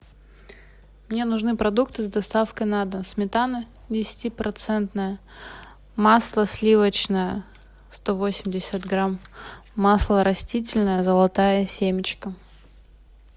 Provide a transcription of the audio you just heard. мне нужны продукты с доставкой на дом сметана десятипроцентная масло сливочное сто восемьдесят грамм масло растительное золотая семечка